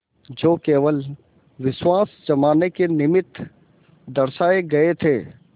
जो केवल विश्वास जमाने के निमित्त दर्शाये गये थे